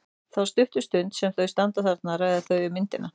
Þá stuttu stund sem þau standa þarna ræða þau um myndina.